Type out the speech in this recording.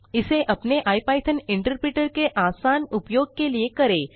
इसे अपने IPython interpreter के आसान उपयोग के लिए करें